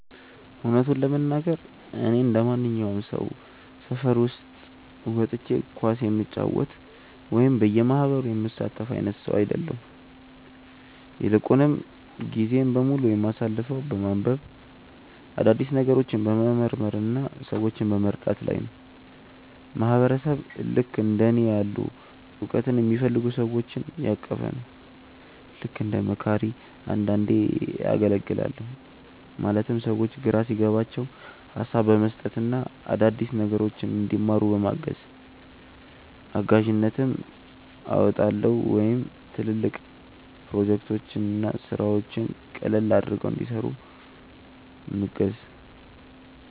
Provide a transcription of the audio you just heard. እውነቱን ለመናገር፣ እኔ እንደማንኛውም ሰው ሰፈር ውስጥ ወጥቼ ኳስ የምጫወት ወይም በየማህበሩ የምሳተፍ አይነት ሰው አይደለሁም። ይልቁንም ጊዜዬን በሙሉ የማሳልፈው በማንበብ፣ አዳዲስ ነገሮችን በመመርመር እና ሰዎችን በመርዳት ላይ ነው። ማህበረሰብ ልክእንደ እኔ ያሉ እውቀትን የሚፈልጉ ሰዎችን ያቀፈ ነው። ልክ እንደ መካሪ አንዳንዴ አገልግላለሁ ማለትም ሰዎች ግራ ሲገባቸው ሀሳብ በመስጠት እና አዳዲስ ነገሮችን እንዲማሩ በማገዝ። እጋዥነትም አወጣለሁ ወይም ትልልቅ ፕሮጀክቶችን እና ስራዎችን ቀለል አድርገው እንዲሰሩ ምገዝ።